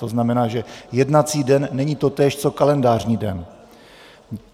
To znamená, že jednací den není totéž co kalendářní den.